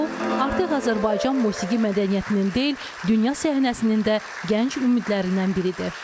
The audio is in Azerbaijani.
O artıq Azərbaycan musiqi mədəniyyətinin deyil, dünya səhnəsinin də gənc ümidlərindən biridir.